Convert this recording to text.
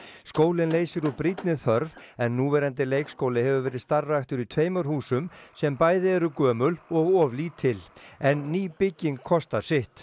skólinn leysir úr brýnni þörf en núverandi leikskóli hefur verið starfræktur í tveimur húsum sem bæði eru gömul og of lítil en ný bygging kostar sitt